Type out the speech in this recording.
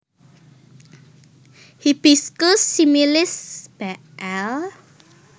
Hibiscus similis Bl